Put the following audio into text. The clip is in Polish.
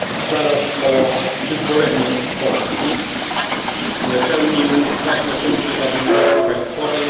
Zaraz po wyzwoleniu Polski pełnił ważne funkcje w administracji państwowej.